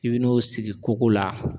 I bi n'o sigi koko la.